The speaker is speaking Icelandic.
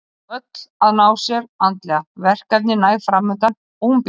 Er nú öll að ná sér andlega, verkefni næg framundan og hún bjartsýn.